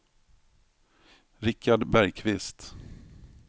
Richard Bergkvist